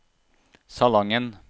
Salangen